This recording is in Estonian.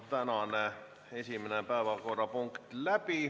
Tänane esimene päevakorrapunkt läbi.